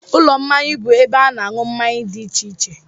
Ụlọ mmanya bụ ebe a na-aṅụ mmanya dị iche iche